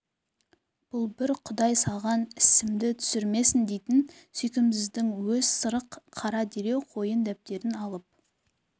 бұл бір құдай саған сімді түсірмесін дейтін сүйкімсіздің өз сырық қара дереу қойын дәптерін алып